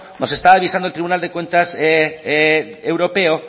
nos está avisando el tribunal de cuentas europeo